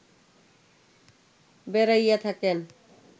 বেড়াইয়া থাকেন